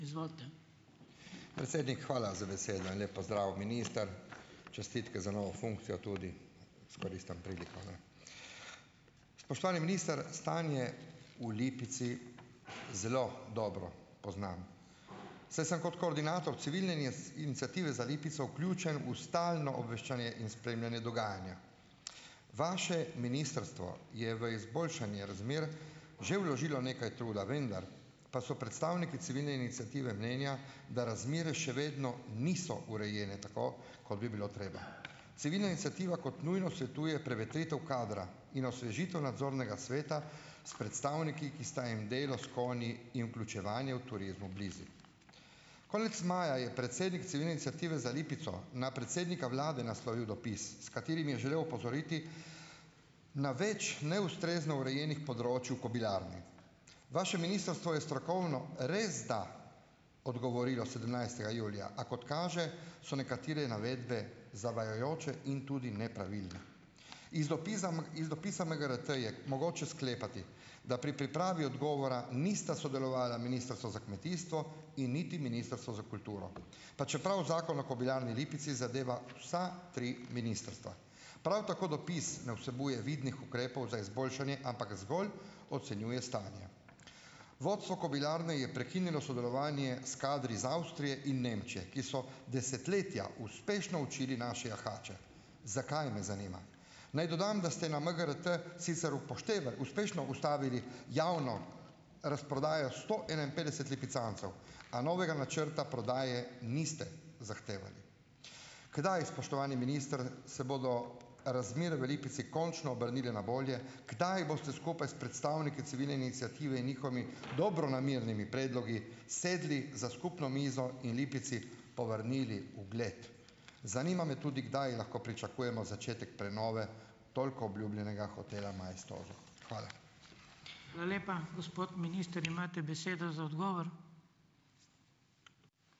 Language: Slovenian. Predsednik, hvala za besedo in lep pozdrav! Minister, čestitke za novo funkcijo, tudi izkoristim priliko, ne. Spoštovani minister! Stanje v Lipici zelo dobro poznam, saj sem kot koordinator civilne iniciative za Lipico vključen v stalno obveščanje in spremljanje dogajanja. Vaše ministrstvo je v izboljšanje razmer že vložilo nekaj truda, vendar pa so predstavniki civilne iniciative mnenja, da razmere še vedno niso urejene tako, kot bi bilo treba. Civilna iniciativa kot nujno svetuje prevetritev kadra in osvežitev nadzornega sveta s predstavniki, ki sta jim delo s konji in vključevanje v turizmu blizu. Konec maja je predsednik civilne iniciative za Lipico na predsednika vlade naslovil dopis, s katerim je želel opozoriti na več neustrezno urejenih področij v kobilarni. Vaše ministrstvo je strokovno resda odgovorilo sedemnajstega julija, a kot kaže, so nekatere navedbe zavajajoče in tudi nepravilne. Iz dopiza iz dopisa MGRT je mogoče sklepati, da pri pripravi odgovora nista sodelovali Ministrstvo za kmetijstvo in niti Ministrstvo za kulturo, pa čeprav Zakon o kobilarni Lipici zadeva vsa tri ministrstva. Prav tako dopis ne vsebuje vidnih ukrepov za izboljšanje, ampak zgolj ocenjuje stanja. Vodstvo kobilarne je prekinilo sodelovanje s kadri iz Avstrije in Nemčije, ki so desetletja uspešno učili naše jahače. Zakaj, me zanima. Naj dodam, da ste na MGRT sicer upoštevali, uspešno ustavili javno razprodajo sto enainpetdeset lipicancev, a novega načrta prodaje niste zahtevali. Kdaj, spoštovani minister, se bodo razmere v Lipici končno obrnile na bolje? Kdaj boste skupaj s predstavniki civilne iniciative in njihovimi dobronamernimi predlogi sedli za skupno mizo in Lipici povrnili ugled. Zanima me tudi, kdaj lahko pričakujemo začetek prenove toliko obljubljenega hotela Maestoso? Hvala.